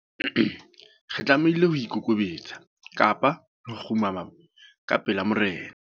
Re tlamehile ho ikokobetsa kapa re kgumama ka pela morena.